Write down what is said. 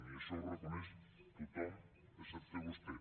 i això ho reconeix tothom excepte vostè